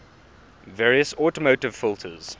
various automotive filters